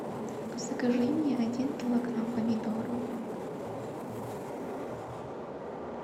закажи мне один килограмм помидоров